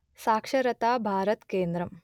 సాక్షరతా భారత్ కేంద్రం